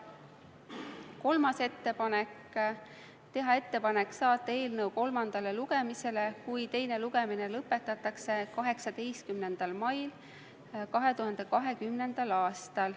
Kolmas ettepanek: teha ettepanek saata eelnõu kolmandale lugemisele 18. maiks 2020. aastal, juhul kui teine lugemine lõpetatakse.